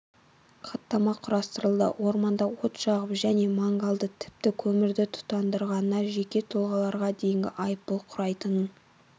хаттама құрастырылды орманда от жағып және мангалда тіпті көмірді тұтандырғанына жеке тұлғаларға дейінгі айыппұл құрайтынын